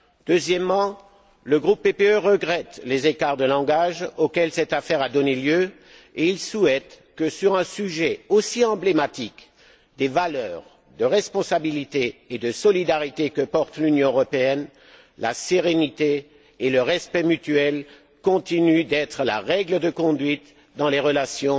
Deuxièmement, le groupe PPE regrette les écarts de langage auxquels cette affaire a donné lieu et il souhaite que, sur un sujet aussi emblématique, les valeurs de responsabilité et de solidarité que porte l'Union européenne, la sérénité et le respect mutuel continuent d'être la règle de conduite dans les relations